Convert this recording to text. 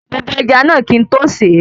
Mo bọ ẹja náà kín n tó sèé